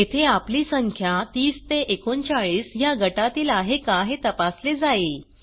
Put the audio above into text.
येथे आपली संख्या 30 ते 39 ह्या गटातील आहे का हे तपासले जाईल